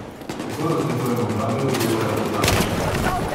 Kako razlikujemo pravega guruja od lažnega?